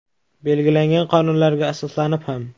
Belgilangan qonunlarga asoslanib ham.